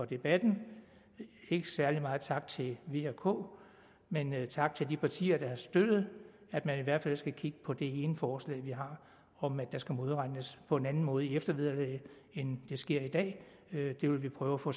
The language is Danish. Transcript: debatten ikke særlig meget tak til v og k men tak til de partier der har støttet at man i hvert fald skal kigge på det ene forslag vi har om at der skal modregnes på en anden måde i eftervederlaget end det sker i dag det vil vi prøve at få